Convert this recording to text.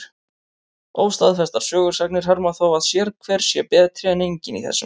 Óstaðfestar sögusagnir herma þó að sérhver sé betri en enginn í þessum efnum.